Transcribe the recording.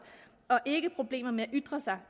og ikke havde problemer med at ytre sig